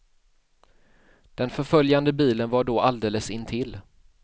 Den förföljande bilen var då alldeles intill.